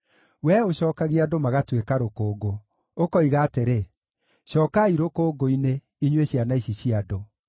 Wee ũcookagia andũ magatuĩka rũkũngũ, ũkoiga atĩrĩ, “Cookai rũkũngũ-inĩ, inyuĩ ciana ici cia andũ.”